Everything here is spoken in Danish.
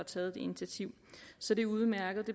taget det initiativ så det er udmærket